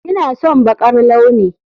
Ina son baƙar launi